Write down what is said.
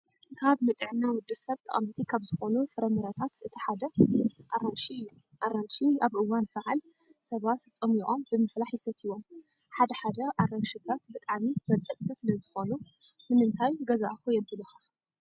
ካብ ንጥዕና ወዲሰብ ጠቐምቲ ካብ ዝኾኑ ፍረምረታት እቲ ሓደ ኣራንሺ እዩ። ኣራንሺ ኣብ እዋን ሰዓል ሰባት ፀሚቆም ብምፍላሕ ይሰትይዎም። ሓደ ሓደ ኣራንሽታት ብጣዕሚ መፀፅቲ ስለዝኾኑ ንምንታይ ገዛእኹ የብሉኻ።